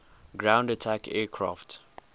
ground attack aircraft